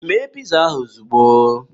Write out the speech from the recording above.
Mee ịza ahụ ozugbo!